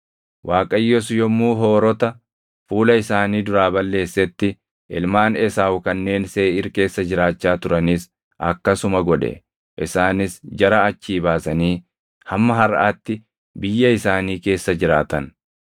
Waaqayyos yommuu Hoorota fuula isaanii duraa balleessetti ilmaan Esaawu kanneen Seeʼiir keessa jiraachaa turanis akkasuma godhe. Isaanis jara achii baasanii hamma harʼaatti biyya isaanii keessa jiraatan.